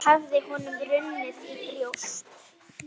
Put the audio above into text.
Hafði honum runnið í brjóst?